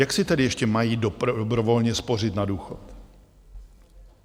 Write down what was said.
Jak si tedy ještě mají dobrovolně spořit na důchod?